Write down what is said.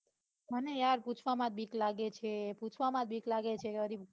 મને યાર પૂછવામાં બીક લાગે છે પૂછવામાં બીક લાગે છે.